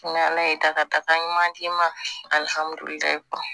Ni ala ye dakata ɲuman d'i ma alihamudulilayi